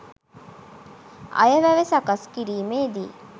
අයවැය සකස් කිරීමේදී